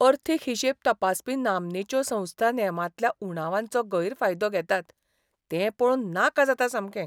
अर्थीक हिशेब तपासपी नामनेच्यो संस्था नेमांतल्या उणावांचो गैरफायदो घेतात तें पळोवन नाका जाता सामकें.